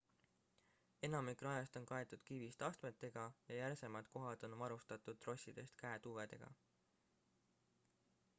enamik rajast on kaetud kivist astmetega ja järsemad kohad on varustatud trossidest käetugedega